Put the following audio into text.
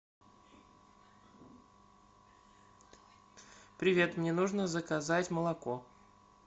привет мне нужно заказать молоко